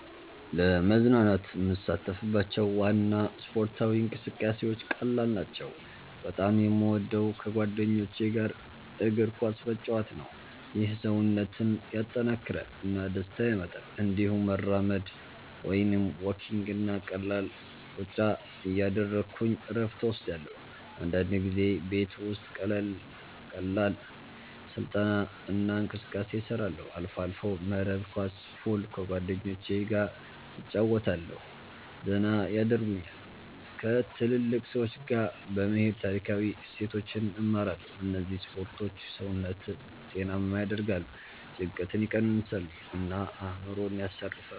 ለመዝናናት የምሳተፍባቸው ዋና ስፖርታዊ እንቅስቃሴዎች ቀላል ናቸው። በጣም የምወደው ከጓደኞች ጋር እግር ኳስ መጫወት ነው። ይህ ሰውነትን ያጠናክራል እና ደስታ ያመጣል። እንዲሁም መራመድ (walking) እና ቀላል ሩጫ እያደረግሁ እረፍት እወስዳለሁ። አንዳንድ ጊዜ ቤት ውስጥ ቀላል ስልጠና እና እንቅስቃሴ እሰራለሁ። አልፎ አልፎ መረብ ኳስ፣ ፑል ከጓደኞቸ ገ እጨረወታለሁ ዘና የደርጉኛል። ከትልልቅ ሰዎች ጋ በመሄድ ታሪካዊ እሴቶችን እማራለሁ እነዚህ ስፖርቶች ሰውነትን ጤናማ ያደርጋሉ፣ ጭንቀትን ይቀንሳሉ እና አእምሮን ያሳርፋሉ።